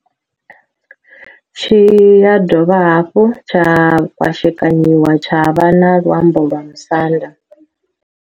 Tshi ya dovha hafhu tsha kwashekanyiwa tsha vha na luambo lwa Musanda.